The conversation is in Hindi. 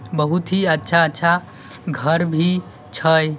बोहत ही अच्छा अच्छा घर भी छे।